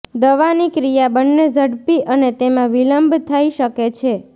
દવાની ક્રિયા બંને ઝડપી અને તેમાં વિલંબ થઈ શકે છે